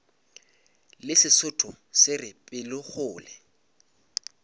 le sesotho se re pelokgolo